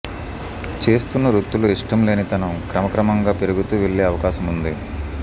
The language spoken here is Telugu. చేస్తున్న వృత్తిలో ఇష్టం లేనితనం క్రమ క్రమంగా పెరుగుతూ వెళ్లే అవకాశముంది